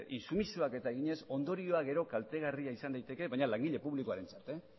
intsumisioak eginez ondorioak gero kaltegarriak izan liteke baina langile publikoarentzat